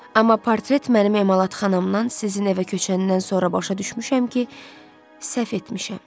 Amma portret mənim emalatxanamdan sizin evə köçəndən sonra başa düşmüşəm ki, səhv etmişəm.